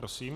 Prosím.